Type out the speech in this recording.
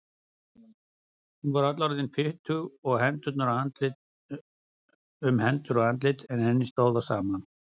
Hún var öll orðin fitug um hendur og andlit en henni stóð á sama.